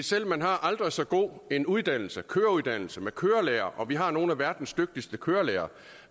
selv om man har aldrig så god en uddannelse køreuddannelse med kørelærer vi har nogle af verdens dygtigste kørelærere